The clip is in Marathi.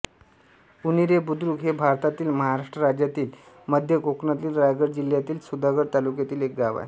उन्हेरे बुद्रुक हे भारतातील महाराष्ट्र राज्यातील मध्य कोकणातील रायगड जिल्ह्यातील सुधागड तालुक्यातील एक गाव आहे